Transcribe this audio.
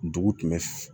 Dugu tun bɛ